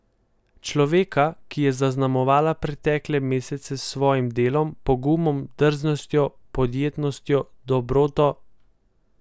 Človeka, ki je zaznamoval pretekle mesece s svojim delom, pogumom, drznostjo, podjetnostjo, dobroto ...